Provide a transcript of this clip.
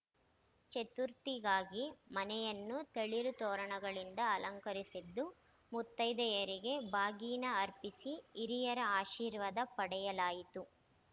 ಚತುರ್ಥಿಗಾಗಿ ಮನೆಯನ್ನು ತಳಿರು ತೋರಣಗಳಿಂದ ಅಲಂಕರಿಸಿದ್ದು ಮುತ್ತೈದೆಯರಿಗೆ ಬಾಗಿನ ಅರ್ಪಿಸಿ ಹಿರಿಯರ ಅಶೀರ್ವಾದ ಪಡೆಯಲಾಯಿತು